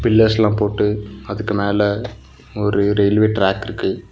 பில்லர்ஸ்லா போட்டு அதுக்கு மேல ஒரு ரயில்வே டிராக் இருக்கு.